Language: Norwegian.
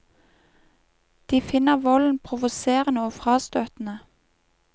De finner volden provoserende og frastøtende.